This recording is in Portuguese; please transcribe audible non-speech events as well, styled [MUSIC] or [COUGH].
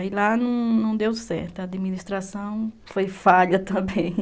Aí lá não deu certo, a administração foi falha também. [LAUGHS]